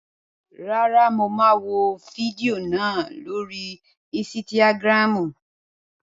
Rárá, mo máa wò fídíò náà lórii ísítágírámù